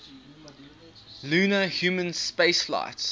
lunar human spaceflights